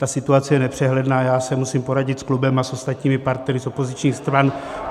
Ta situace je nepřehledná, já se musím poradit s klubem a s ostatními partnery z opozičních stran.